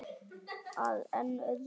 Að enn öðru.